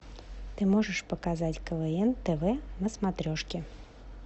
ты можешь показать квн тв на смотрешке